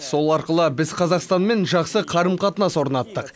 сол арқылы біз қазақстанмен жақсы қарым қатынас орнаттық